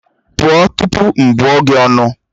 Pụọ tupu m bụọ gị ọnụ!